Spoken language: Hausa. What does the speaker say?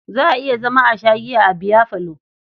Za a iya zama a sha giya a biyafalo.